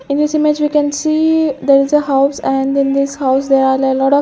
In this image we can see there is a house and then this house there are lot of --